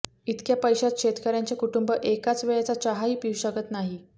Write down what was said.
इतक्या पैशांत शेतकऱ्यांचे कुटुंब एका वेळेचा चहाही पिऊ शकत नाही